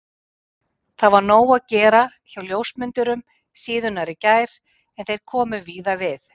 Það var nóg að gera hjá ljósmyndurum síðunnar í gær en þeir komu víða við.